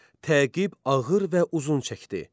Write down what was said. Təqib ağır və uzun çəkdi.